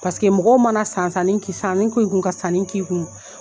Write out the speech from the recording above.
Paseke mɔgɔw mana san san sanni k'i kun ka sanni k'i kun.